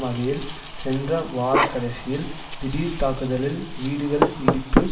வகையில் சென்ற வாரக்கடைசியில் திடீர் தாக்குதலில் வீடுகள் இடிப்பு